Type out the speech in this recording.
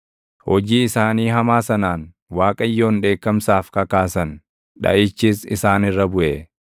Hojii isaanii hamaa sanaan // Waaqayyoon dheekkamsaaf kakaasan; dhaʼichis isaan irra buʼe.